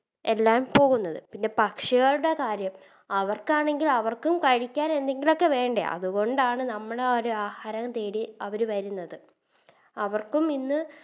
എല്ലാം പോകുന്നത് പിന്നെ പക്ഷികളുടെ കാര്യം അവർക്കാണെങ്കിലും അവർക്കും കഴിക്കാൻ എന്തെങ്കിലൊക്കെ വേണ്ടേ അതുകൊണ്ടാണ് നമ്മളാരു ആഹാരം തേടി അവര് വരുന്നത് അവർക്കും ഇന്ന്